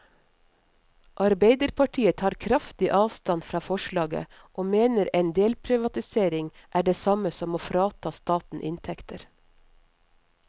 Arbeiderpartiet tar kraftig avstand fra forslaget, og mener en delprivatisering er det samme som å frata staten inntekter.